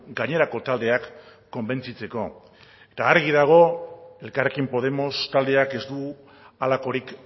gainerako taldeak konbentzitzeko eta argi dago elkarrekin podemos taldeak ez du halakorik